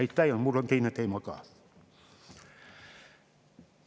Ja mul on teine teema ka.